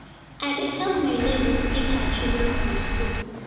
I dey help my nebor pick her children from skool.